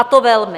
A to velmi.